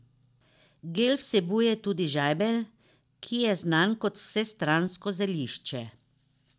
Gel vsebuje tudi žajbelj, ki je znan kot vsestransko zelišče.